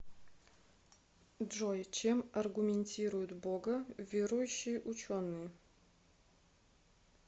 джой чем аргументируют бога верующие ученые